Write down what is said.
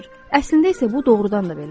Əslində isə bu doğrudan da belədir.